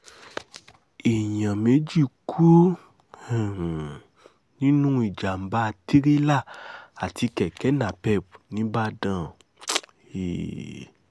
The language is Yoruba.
èèyàn méjì kú um nínú ìjàm̀bá tirẹ̀la àti kẹ̀kẹ́ napep nìbàdàn um